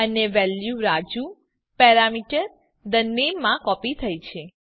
અને વેલ્યુ રાજુ parameter the name માં કોપી થઇ છે